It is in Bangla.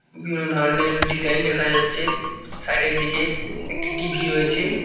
বিভিন্ন ধরনের ডিজাইন দেখা যাচ্ছে সাইড এর দিকে একটি টি_ভি রয়েছে।